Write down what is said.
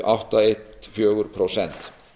átta ein fjögur prósent